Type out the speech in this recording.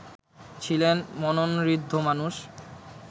ছিলেন মননঋদ্ধ মানুষ